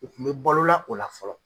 U Kun be balola o la fɔlɔ.